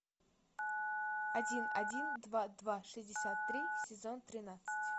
один один два два шестьдесят три сезон тринадцать